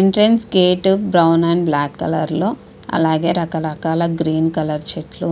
entrance gate brown and black colour అలాగే రక రకాల చెట్లు గ్రీ కలర్ చెట్లు